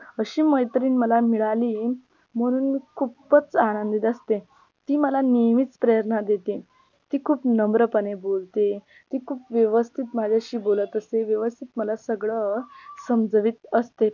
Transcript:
अशी मैत्रिण मला मिळाली म्हणून मी खूपच आनंदीत असते ती मला नेहमीच प्रेरणा देते ती खूप नम्रपणे बोलते ती खूप व्यवस्थित माझ्याशी बोलत असते व्यवस्थित मला सगळ समजवीत असते.